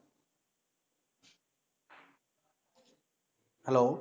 hello